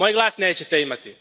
Moj glas nećete imati.